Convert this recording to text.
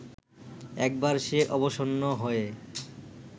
একবার সে অবসন্ন হয়ে